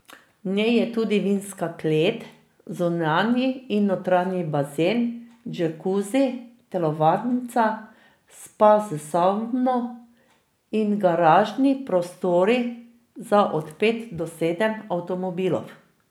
V njej je tudi vinska klet, zunanji in notranji bazen, džakuzi, telovadnica, spa s savno in garažni prostori za od pet do sedem avtomobilov.